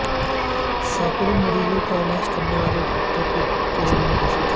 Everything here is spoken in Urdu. سینکڑوں مریضوں کا علاج کرنے والا ڈاکٹر کورونا کا شکار